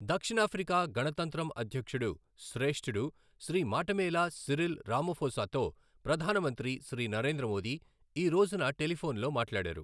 దక్షిణ ఆఫ్రికా గణతంత్రం అధ్యక్షుడు శ్రేష్ఠుడు శ్రీ మాటెమేలా సిరిల్ రామఫోసాతో ప్రధాన మంత్రి శ్రీ నరేంద్ర మోదీ ఈ రోజున టెలిఫొన్లో మాట్లాడారు.